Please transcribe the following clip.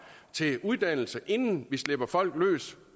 til uddannelse inden vi slipper folk løs